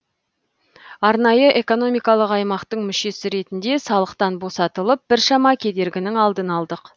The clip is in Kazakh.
арнайы экономикалық аймақтың мүшесі ретінде салықтан босатылып біршама кедергінің алдын алдық